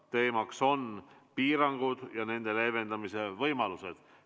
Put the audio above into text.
Teemaks on piirangud ja nende leevendamise võimalused.